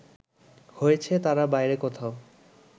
হয়েছে তার বাইরে কোথাও